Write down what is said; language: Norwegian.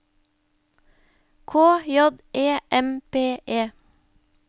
K J E M P E